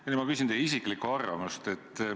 Nüüd ma küsin teie isiklikku arvamust.